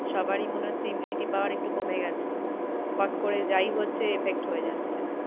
সবারই মনে হচ্ছে immunity power একটু কমে গেছে। ফোট করে যাই হচ্ছে effect হয়ে যাচ্ছে।